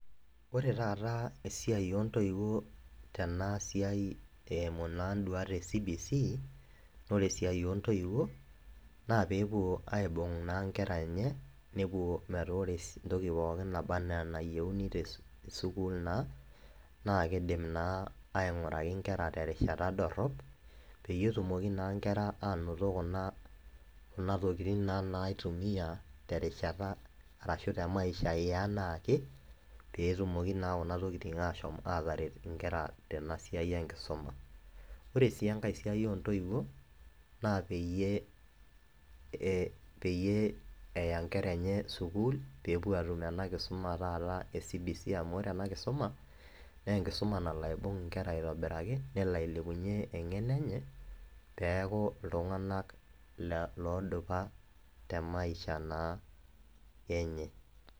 ore taata esiai oo ntoiwuo tena siai eimu naa duat e cbc naa ore esiai oontoiwuo, naa pee epuo aibung' naa nkera enye, nepuo metaa ore entoki pookin naba anaa enayieuni te sukul naa naa kidim naa aing'oraki nkera terishata dodrop. peyie etumoki naa nkera ,aanoto naa intokitin naitumia, terishata arashu te maisha yeanaake, pee etumoki naa kuna tokitin, aashom ataret nkera tena siai enkisuma. ore sii enkae siai oontoiwuo, na peyie peyie eya nkera enye sukuul pee epo atum ena kisuma enye e cbc amu ore ena kisuma naa enkisum nalo aisum nkera aitobiraki nelo ailepunye engeno enye, peeku iltunganak, loodupa te maisha naa enye.